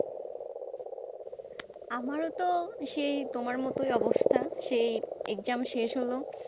আমারো তো সেই তোমার মত অবস্থা সেই exam শেষ হলো,